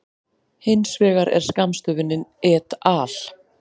Hins vegar er skammstöfunin et al.